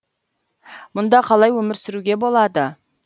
мұнда қалай өмір сүруге болады